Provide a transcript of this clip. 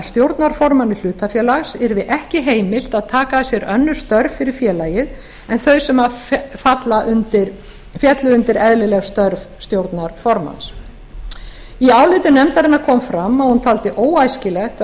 stjórnarformanni hlutafélags yrði ekki heimilt að taka að sér önnur störf fyrir félagið en þau sem féllu undir eðlileg störf stjórnarformanns í áliti nefndarinnar kom fram að hún teldi óæskilegt að